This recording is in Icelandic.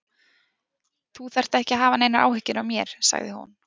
Þú þarft ekki að hafa neinar áhyggjur af mér, sagði hún.